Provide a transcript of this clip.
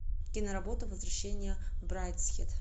киноработа возвращение в брайдсхед